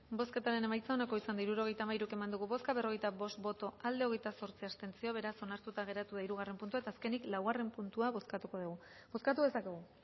bozketaren emaitza onako izan da hirurogeita hamairu eman dugu bozka berrogeita bost boto aldekoa hogeita zortzi abstentzio beraz onartuta geratu da hirugarren puntua eta azkenik laugarren puntua bozkatuko dugu bozkatu dezakegu